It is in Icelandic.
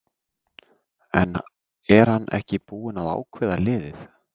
En er hann ekki búinn að ákveða liðið?